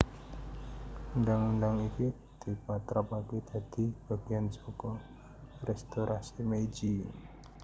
Undhang undhang iki dipatrapaké dadi bagéyan saka Restorasi Meiji